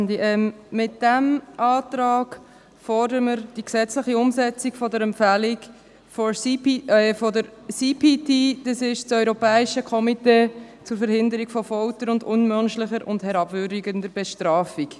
Mit diesem Antrag fordern wir die gesetzliche Umsetzung der Empfehlung des CPT, des Europäischen Komitees zur Verhinderung von Folter und unmenschlicher oder herabwürdigender Bestrafung